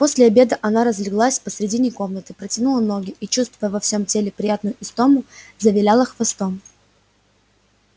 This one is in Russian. после обеда она разлеглась посредине комнаты протянула ноги и чувствуя во всем теле приятную истому завиляла хвостом